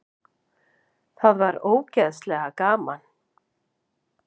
Það var ógeðslega gaman.